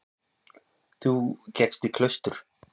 Þú gekkst í klaustur.